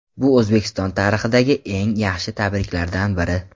Bu O‘zbekiston tarixidagi eng yaxshi tarkiblardan biri.